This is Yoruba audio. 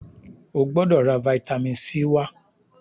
o gbódò rà vitamin c wá!